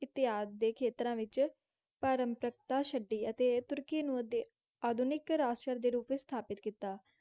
ਇਤਆਦਿ ਦੇ ਖੇਤਰਾਂ ਵਿੱਚ ਪਾਰੰਪਰਿਕਤਾ ਛੱਡੀ ਅਤੇ ਤੁਰਕੀ ਨੂੰ ਅਧ~ ਆਧੁਨਿਕ ਰਾਸ਼ਟਰ ਦੇ ਰੂਪ ਵਿੱਚ ਸਥਾਪਤ ਕੀਤਾ।